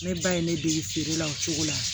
Ne ba ye ne dege feere la o cogo la